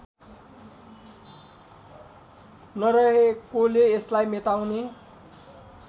नरहेकोले यसलाई मेटाउने